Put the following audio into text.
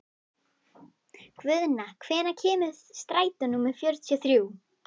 Guðna, hvenær kemur strætó númer fjörutíu og þrjú?